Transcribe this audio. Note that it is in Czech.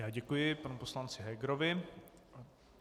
Já děkuji panu poslanci Hegerovi.